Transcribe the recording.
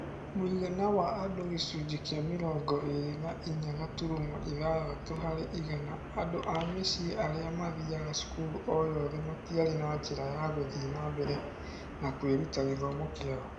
Mũigana wa andũ gĩcunjĩ kĩa mĩrongo ĩĩrĩ na inya gaturumo ithathatũ harĩ igana andũ a mĩciĩ arĩa mathiaga cukuru o yothe matiarĩ na njĩra ya gũthiĩ na mbere na kwĩruta gĩthomo kĩao